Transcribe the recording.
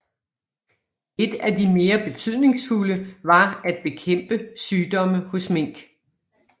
Et af de mere betydningsfulde var at bekæmpe sygdomme hos mink